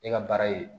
E ka baara ye